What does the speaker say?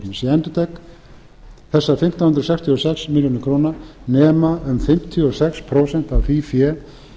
ég endurtek þessar fimmtán hundruð sextíu og sex milljónir króna sem nema um fimmtíu og sex prósent af því fé